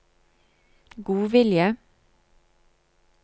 godvilje